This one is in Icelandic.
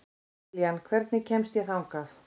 Liljan, hvernig kemst ég þangað?